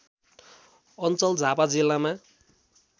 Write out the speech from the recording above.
अञ्चल झापा जिल्लामा